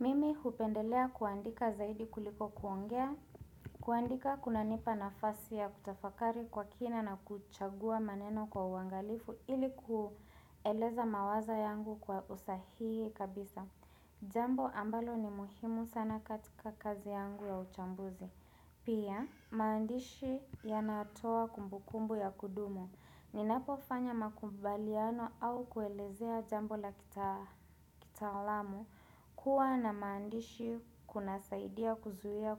Mimi hupendelea kuandika zaidi kuliko kuongea, kuandika kuna nipa nafasi ya kutafakari kwa kina na kuchagua maneno kwa uangalifu ili kueleza mawazo yangu kwa usahihi kabisa. Jambo ambalo ni muhimu sana katika kazi yangu ya uchambuzi. Pia, maandishi ya natoa kumbukumbu ya kudumu. Ninapo fanya makubaliano au kuelezea jambo la kitaalamu. Kuwa na maandishi kuna saidia kuzuia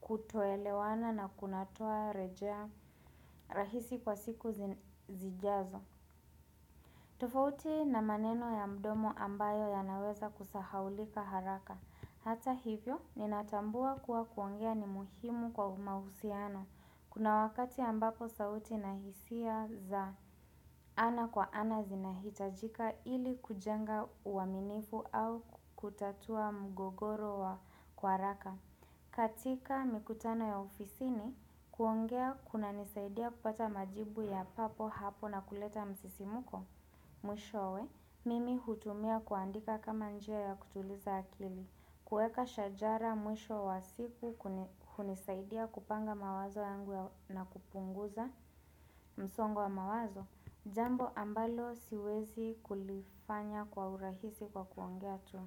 kutoelewana na kunatoa rejea rahisi kwa siku zijazo tofauti na maneno ya mdomo ambayo ya naweza kusahaulika haraka Hata hivyo, ninatambua kuwa kuongea ni muhimu kwa umahusiano Kuna wakati ambapo sauti nahisia za ana kwa ana zinahitajika ili kujenga uaminifu au kutatua mgogoro wa kwa haraka. Katika mikutano ya ofisi ni kuongea kuna nisaidia kupata majibu ya papo hapo na kuleta msisimuko. Mwisho we, mimi hutumia kuandika kama njia ya kutuliza akili, kuweka shajara mwisho wa siku hunisaidia kupanga mawazo yangu na kupunguza msongo wa mawazo, jambo ambalo siwezi kulifanya kwa urahisi kwa kuongea tu.